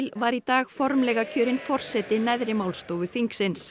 var í dag formlega kjörin forseti neðri málstofu þingsins